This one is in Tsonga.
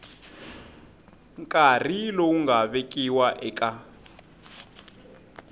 nkarhi lowu nga vekiwa eka